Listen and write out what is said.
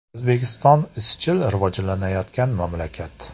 O‘zbekiston izchil rivojlanayotgan mamlakat.